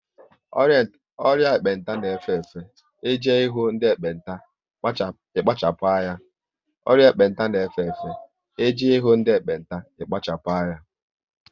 Ọrịa ekpenta n'efe efe, e je ihu ndị ekpenta ikpachapu anya